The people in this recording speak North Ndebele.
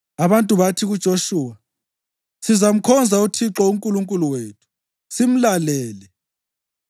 Abantu bathi kuJoshuwa, “Sizamkhonza uThixo uNkulunkulu wethu simlalele.”